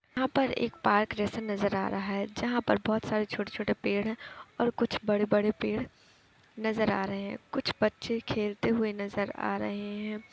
यहाँ पर एक पार्क जैसा नजर आ रहा है जहाँ पर बहुत सारे छोटे छोटे पेड़ हैं और कुछ बड़े बड़े पेड़ नजर आ रहे हैं कुछ बच्चे खेलते हुए नजर आ रहे हैं।